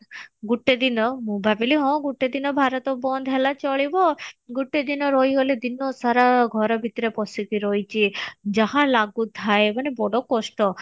ଗୋଟେ ଦିନ ମୁଁ ଭାବିଲି ହଁ ଗୋଟେ ଦିନ ଭାରତ ବନ୍ଦ ହେଲା ଚଳିବ ଗୋଟେ ଦିନ ରହି ଗଲେ ଦିନ ସାରା ଘର ଭିତରେ ପଶିକି ରହିଛି ଯାହା ଲାଗୁଥାଏ ମାନେ ବଡ କଷ୍ଟ